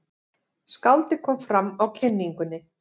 Skáldið kom fram á kynningunni.